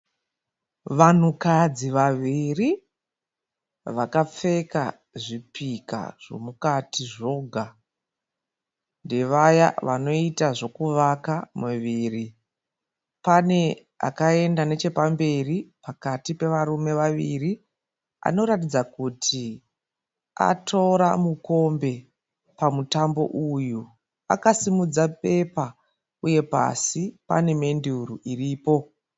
Vanhukadzi vaviri vakapfeka zvipika zvomukati zvoga. Ndevaya vanoita zvekuvaka miviri. Pane akaenda nechepamberi pakati pevarume vaviri anoratidza kuti atora mukombe pamutambo uyu. Akasimudza bepa uye pasi pane menduru iripo.